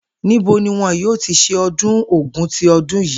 Níbo ni wo̩n yóò ti s̩e o̩dún Ògún ti o̩dún yìí?